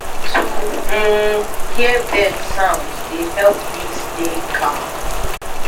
to um hear bird sound dey help me stay calm.